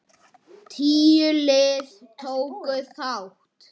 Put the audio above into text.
Tíu lið tóku þátt.